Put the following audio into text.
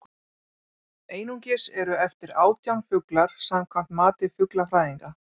einungis eru eftir átján fuglar samkvæmt mati fuglafræðinga